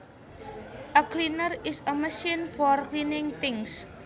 A cleaner is a machine for cleaning things